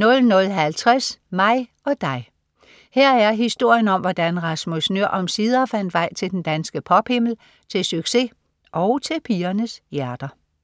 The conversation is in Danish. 00.50 Mig og Dig. Her er historien om, hvordan Rasmus Nøhr omsider fandt vej til den danske pop-himmel, til succes og til pigernes hjerter